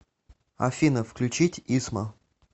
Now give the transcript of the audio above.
афина включить исма